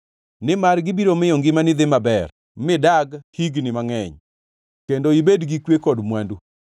nimar gibiro miyo ngimani dhi maber midag higni mangʼeny kendo ibed gi kwe kod mwandu.